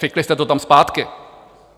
Fikli jste to tam zpátky.